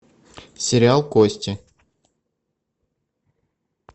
сериал кости